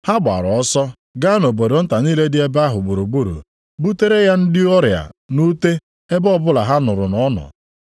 Ha gbaara ọsọ gaa nʼobodo nta niile dị ebe ahụ gburugburu butere ya ndị ọrịa nʼute ebe ọbụla ha nụrụ na ọ nọ.